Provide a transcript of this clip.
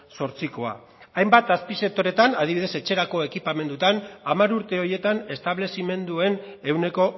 zortzikoa hainbat azpisektoreetan adibidez etxerako ekipamenduetan hamar urte horietan establezimenduen ehuneko